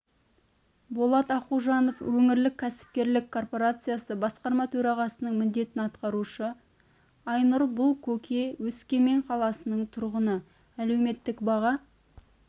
болат ақужанов өңірлік кәсіпкерлік корпорациясы басқарма төрағасының міндетін атқарушы айнұр бұлкөке өскемен қаласының тұрғыны әлеуметтік баға